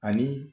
Ani